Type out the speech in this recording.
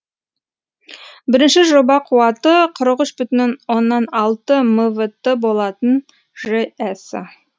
бірінші жоба қуаты қырық үш бүтін оннан алты мвт болатын жэс